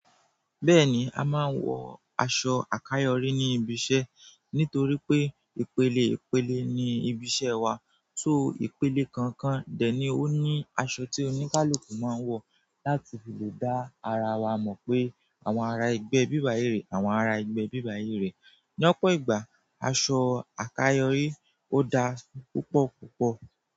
Bẹ́ẹ̀ni, a máa ń wọ aṣọ àkàyọrí ní ibi iṣẹ́. Nítorí pé ìpele ìpele ni ibi iṣẹ́ wa. Ìpele kọ̀ọ̀kan dẹ̀ ni ó ní aṣọ tí oníkálukú máa ń wọ láti lè dá ara wa mọ̀ pé àwọn ará ẹgbẹ́ ibí báyìí rèé àwọn ará ẹgbẹ́ ibí báyìí rèé L'ọ́pọ̀ ìgbà, aṣọ àkàyọrí ó dáa púpọ̀ púpọ̀